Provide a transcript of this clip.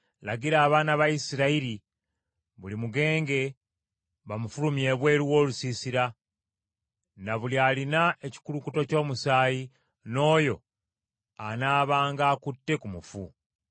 “Lagira abaana ba Isirayiri buli mugenge bamufulumye ebweru w’olusiisira, na buli alina ekikulukuto ky’omusaayi, n’oyo anaabanga akutte ku mufu.